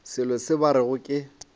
selo se ba rego ke